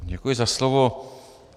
Děkuji za slovo.